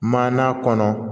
Maana kɔnɔ